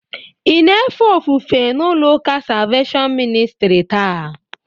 Ị na-efe ofufe n'ụlọụka Salveshọn Ministrị taa?